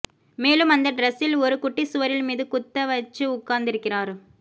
மேலும் அந்த டிரெஸில் ஒரு குட்டி சுவரின் மீது குத்த வச்சு உட்காந்திருக்கிறார்